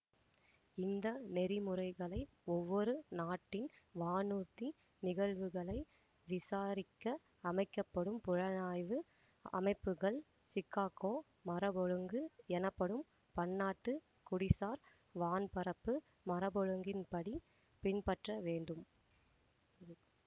இந்த நெறிமுறைகளை ஒவ்வொரு நாட்டின் வானூர்தி நிகழ்வுகளை விசாரிக்க அமைக்க படும் புலனாய்வு அமைப்புகள் சிகாகோ மரபொழுங்கு எனப்படும் பன்னாட்டு குடிசார் வான்பறப்பு மரபொழுங்கின்படி பின்பற்ற வேண்டும்